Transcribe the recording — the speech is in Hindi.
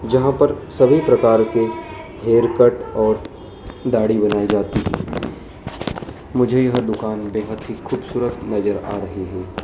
जहां पर सभी प्रकार के हेयर कट और दाढ़ी बनाई जाती है मुझे यह दुकान बेहद ही खूबसूरत नजर आ रही--